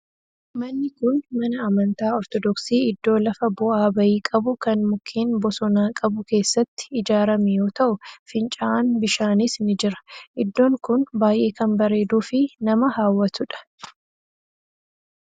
Manni kun mana amantaa ortodoksii iddoo lafa bu'aa ba'ii qabu kan mukkeen bosonaa qabu keessatti ijaarame yoo ta'u fincaa'aan bishaanis ni jira. Iddoon kun baayyee kan bareeduu fi nama hawwatudha.